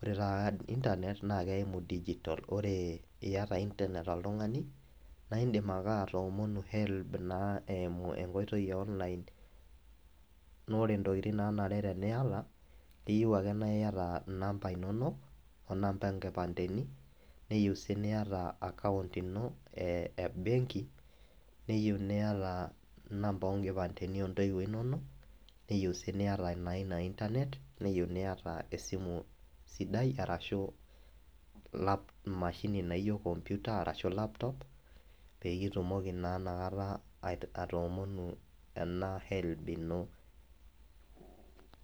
ore taata internet naa keimu digital. Ore iyata internet oltungani naa indim ake atoomonu helb . Naa eimu enkoitoi eonline naa ore intokitin naanare teniata naa keyieu ake naa iyata inamba inonok , onamba enkipande ino, neyieu sii niata e account ebenki , neyieu niata inamba onkipandeni ontoiwuo inonok , neyieu sii niata ina internet neyieu niata esimu sidai arashu emashini naijo computer arashu laptop peyie itumoki naa inakata a atoomonu ena helb ino.